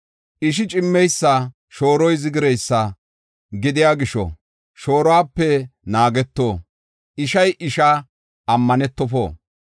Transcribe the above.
“Ishi cimmeysa, shooroy zigireysa gidiya gisho shooruwape naageto; ishay ishaa ammanetofo.